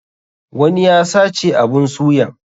Wani ya sace abun suyan.